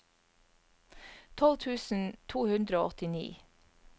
tolv tusen to hundre og åttini